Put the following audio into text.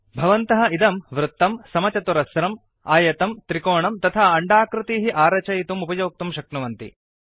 भवन्तः इदं वृत्तम् समचतुरस्रम् आयतं त्रिकोणम् तथा अण्डाकृतीः आरचयितुम् उपयोक्तुं शक्नुवन्ति